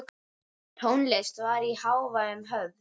Tónlist var í hávegum höfð.